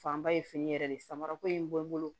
Fanba ye fini yɛrɛ de samara ko in bɔ n bolo